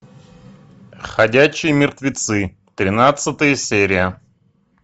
ходячие мертвецы тринадцатая серия